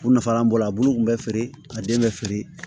U nafa an b'o bolo a bulu kun bɛ feere a den bɛ feere